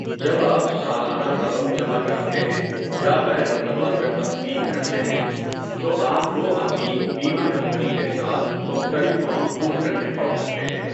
جب آپ سالانہ رقم جمع کراتے ہیں یا غیر متواتر تقسیم کرتے ہیں، تو آپ کو اپنی بیمہ کمپنی کے ساتھ مختلف فارم پُر کرنے پڑ سکتے ہیں۔